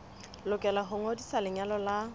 lokela ho ngodisa lenyalo la